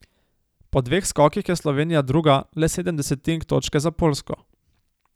Po dveh skokih je Slovenija druga, le sedem desetink točke za Poljsko.